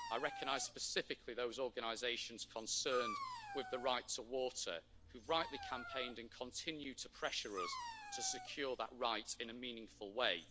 I recognise specifically those organisations concerned with the right to water, who rightly campaigned and continue to pressure us to secure that right in a meaningful way.